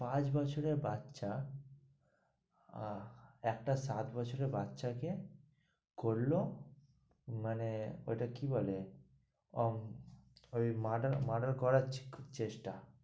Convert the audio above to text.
পাঁচ বছরের বাচ্চা আহ একটা সাত বছরের বাচ্চা কে করলো মানে ওটা কে কি বলে? আহ ওই murder muder করার চেষ্টা।